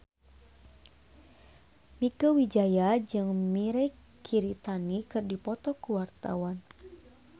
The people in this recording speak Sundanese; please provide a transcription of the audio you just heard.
Mieke Wijaya jeung Mirei Kiritani keur dipoto ku wartawan